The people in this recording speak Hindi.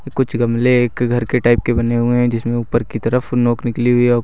कुछ गमले एक घर के टाइप के बने हुए हैं जिसमें ऊपर की तरफ नोंक निकली हुई।